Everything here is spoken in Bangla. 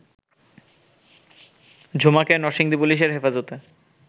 ঝুমাকে নরসিংদী পুলিশের হেফাজতে